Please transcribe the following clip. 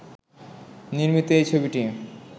নির্মিত এই ছবিটি